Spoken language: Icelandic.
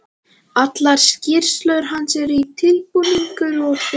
Allar skýrslur hans eru tilbúningur og þegar